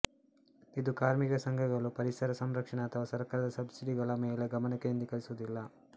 ಇದು ಕಾರ್ಮಿಕ ಸಂಘಗಳು ಪರಿಸರ ಸಂರಕ್ಷಣೆ ಅಥವಾ ಸರ್ಕಾರದ ಸಬ್ಸಿಡಿಗಳ ಮೇಲೆ ಗಮನ ಕೇಂದ್ರೀಕರಿಸುವುದಿಲ್ಲ